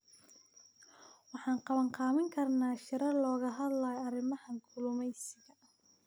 Waxaan qabanqaabin karnaa shirar looga hadlayo arrimaha kalluumeysiga.